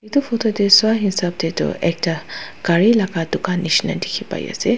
edu photo tae swa hisap taetu ekta gari laka dukan nishina dikhipaiase.